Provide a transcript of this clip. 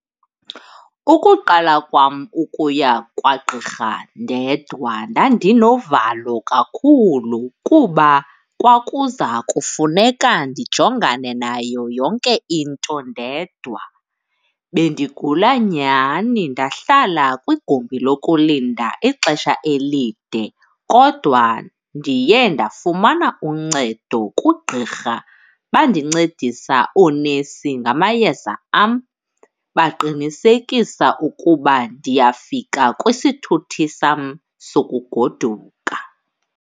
Ukuqala kwam ukuya kwagqirha ndedwa ndandinovalo kakhulu kuba kwakuza kufuneka ndijongane nayo yonke into ndedwa. Bendigula nyhani ndahlala kwigumbi lokulinda ixesha elide kodwa ndiye ndafumana uncedo kugqirha. Bandincedisa oonesi ngamayeza am baqinisekisa ukuba ndiyafika kwisithuthi sam sokugoduka.